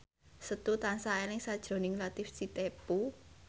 Setu tansah eling sakjroning Latief Sitepu